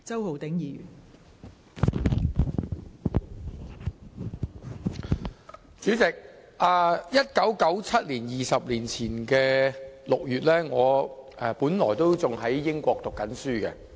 代理主席 ，20 年前 ，1997 年6月，我仍在英國讀書。